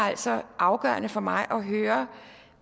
altså afgørende for mig at høre